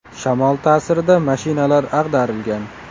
Shamol ta’sirida mashinalar ag‘darilgan.